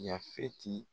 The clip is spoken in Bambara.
Yafeti